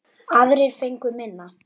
Aðrir fengu minna.